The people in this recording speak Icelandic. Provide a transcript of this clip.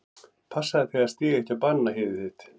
Passaðu þig að stíga ekki á bananahýðið þitt.